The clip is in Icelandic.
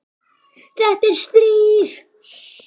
Þetta er stríð!